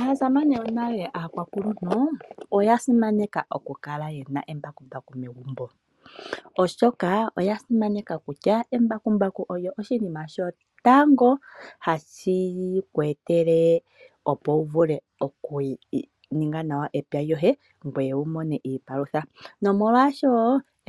Aasamane yonale aakwakuluntu, oya simaneka okukala ye na embakumbaku megumbo. Oshoka, oya simaneka okutya embakumbaku olyo oshinima sho tango hashi ku etele opo uvule oku ninga nawa epya ngoye wumone iipalutha . Nomolwaasho,